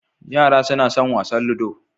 Yara suna son wasan ludo